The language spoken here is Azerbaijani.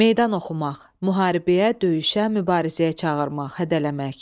Meydan oxumaq – müharibəyə, döyüşə, mübarizəyə çağırmaq, hədələmək.